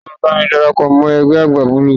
Ta ló máa darapọ̀ mọ́ egbe agbá Bọ́ọ̀lù.?